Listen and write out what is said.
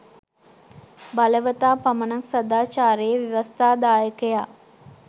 බලවතා පමණක් සාදාචාරයේ ව්‍යවස්ථාදායකයා